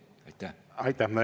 Aitäh!